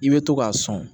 I bɛ to k'a sɔn